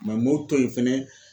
m'o to yen fɛnɛ.